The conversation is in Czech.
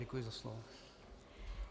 Děkuji za slovo.